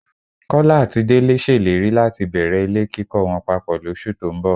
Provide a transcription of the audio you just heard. Kọ́lá àti Délé ṣèlérí láti bẹ̀rẹ̀ ilé kíkọ wọn papọ̀ lóṣù tó ń bọ̀